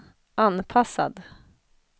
anpassad